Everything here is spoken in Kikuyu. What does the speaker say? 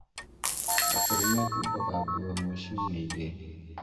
Akũrũ mehumbaga nguo ĩmwe ciumia igĩrĩ